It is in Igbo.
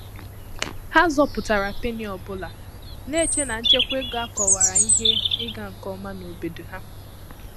Há zọpụ́tàrà pénnì ọ́ bụ́lá, nà-échè nà nchékwá égo ákọwàrà ìhè ị́gà nké omà n’obòdò há.